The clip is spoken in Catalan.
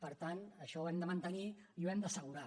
per tant això ho hem de mantenir i ho hem d’assegurar